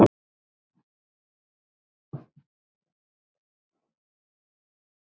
Sorg ykkar er mikil.